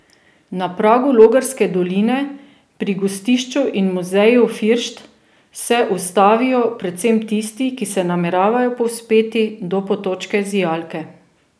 Na pragu Logarske doline, pri gostišču in muzeju Firšt, se ustavijo predvsem tisti, ki se nameravajo povzpeti do Potočke zijalke.